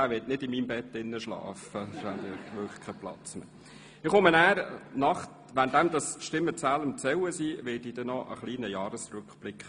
Der wird nicht in meinem Bett schlafen, denn sonst hätte ich ja wirklich keinen Platz mehr.